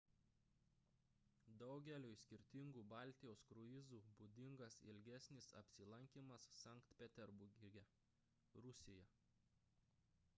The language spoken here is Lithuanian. daugeliui skirtingų baltijos kruizų būdingas ilgesnis apsilankymas sankt peterburge rusija